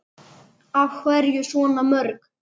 Af hverju svona mörg?